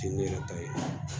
Fini yɛrɛ ta ye